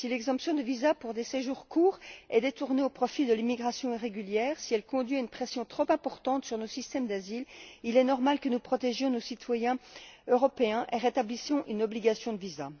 Si l'exemption de visa pour des séjours courts est détournée au profit de l'immigration irrégulière, si elle conduit à une pression trop importante sur nos systèmes d'asile, il est normal que nous protégions nos citoyens européens et rétablissions une obligation de visa.